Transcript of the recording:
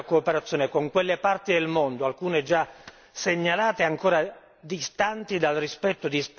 segnalate e ancora distanti dal rispetto di standard minimi accettabili di informazione.